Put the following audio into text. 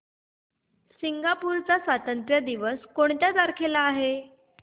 Singapore चा स्वातंत्र्य दिन कोणत्या तारखेला आहे